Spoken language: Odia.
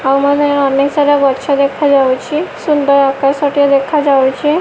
ଆଉ ମାନେ ଅନେକ ସାରା ଗଛ ଦେଖାଯାଉଛି ସୁନ୍ଦର ଆକାଶ ଟିଏ ଦେଖାଯାଉଛି।